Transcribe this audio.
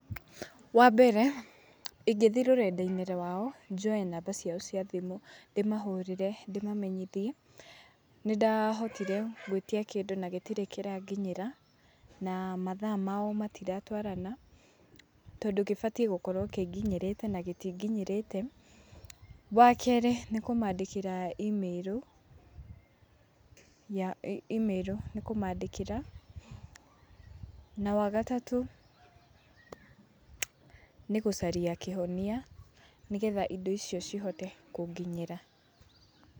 Wambere ingĩthiĩ rurenda-inĩ rwao, njoe namba ciao cia thimũ, ndĩmahũrĩre, ndĩmamenyithie, nĩndahotire gũĩtia kindũ na gĩtirĩ kĩranginyĩra, na mathaa mao matiratwarana, tondũ gĩbatiĩ gũkorũo kĩnginyĩrĩte na gĩtinginyĩrĩte. Wakerĩ, nĩkũmandĩkĩra imĩrũ ya imĩrũ nĩkũmandĩkĩra. Na wagatatũ, nĩ gũcaria kĩhonia, nĩgetha indo icio cihote kũnginyĩra.